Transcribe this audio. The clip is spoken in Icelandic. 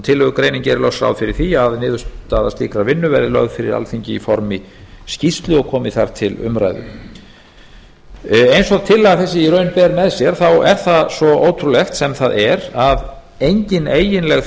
tillögugreinin gerir loks ráð fyrir því að niðurstöður vinnunnar verði lagðar fyrir alþingi í formi skýrslu og komi þar til umræðu eins og tillaga þessi í raun ber með sér þá er það svo ótrúlegt sem það er að engin eiginleg